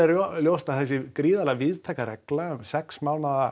ljóst að þessi gríðarlega víðtæka regla um sex mánaða